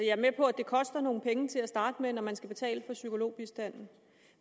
er med på at det koster nogle penge til at starte med når man skal betale for psykologbistanden